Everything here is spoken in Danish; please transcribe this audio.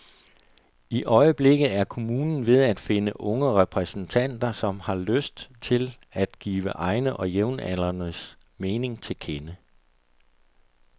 I øjeblikket er kommunen ved at finde unge repræsentanter, som har lyst til at give egne og jævnaldrendes mening til kende.